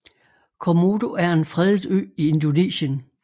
Komodo er en fredet ø i Indonesien